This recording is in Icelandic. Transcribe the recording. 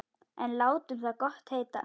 En látum það gott heita.